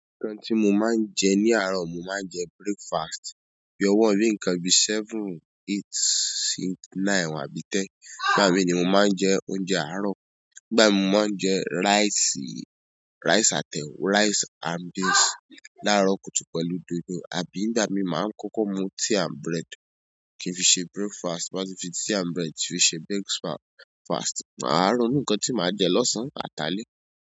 Ǹkan tí mo máa ń jẹ ní àárọ̀, mo máa ń jẹ breakfast bí ọwọ́ rí nǹkan bí seven, eight, si nine àbí ten. Nígbà mí ni mo máa ń jẹ oúnjẹ àárọ̀. Nígbà mí mo máa ń jẹ rice, rice and, rice and beans. Láàárọ̀ kùtù pẹ̀lú dòdò àbí nígbà mí máa ń kókó mu tea and bread kí n fi ṣe breakfast. Ti n bá ti fi tea and bread fi ṣe breakfast. Maa ronu nǹkan tí màá jẹ́ lọ́sàn án, àti alé.